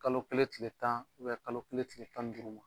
Kalo kelen kile tan kalo kelen kile tan ni duuru ma.